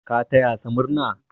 Ka taya sa murna!